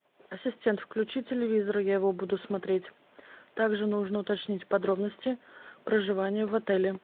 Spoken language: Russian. ассистент включи телевизор я его буду смотреть так же нужно уточнить подробности проживания в отеле